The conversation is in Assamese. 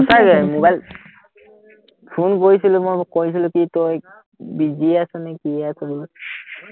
ফোন কৰিছিলো মই কৰিছিলো কি তই busy আছ নেকি